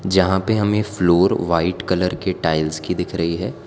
जहां पे हमे फ्लोर वाइट कलर के टाइल्स की दिख रही है।